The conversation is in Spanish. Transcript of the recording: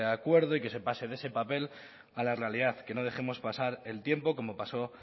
acuerdo y que se pase de ese papel a la realidad que no dejemos pasar el tiempo